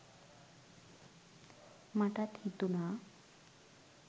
මටත් හිතුනා